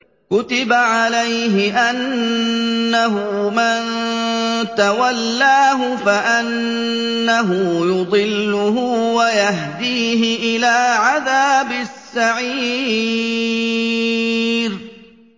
كُتِبَ عَلَيْهِ أَنَّهُ مَن تَوَلَّاهُ فَأَنَّهُ يُضِلُّهُ وَيَهْدِيهِ إِلَىٰ عَذَابِ السَّعِيرِ